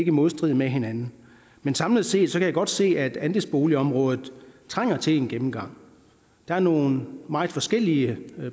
i modstrid med hinanden samlet set kan jeg godt se at andelsboligområdet trænger til en gennemgang der er nogle meget forskellige